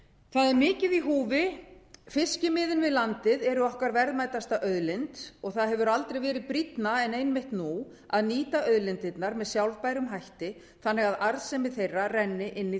er mikið er í húfi fiskimiðin við landið eru okkar verðmætasta auðlind það hefur aldrei verið brýnna en einmitt nú að nýta auðlindirnar með sjálfbærum hætti þannig að arðsemi þeirra renni inn í